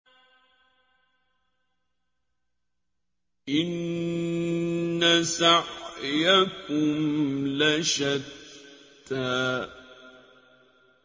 إِنَّ سَعْيَكُمْ لَشَتَّىٰ